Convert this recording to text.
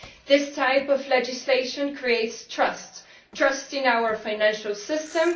This type of legislation creates trust trust in our financial system